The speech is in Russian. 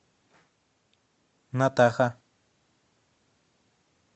натаха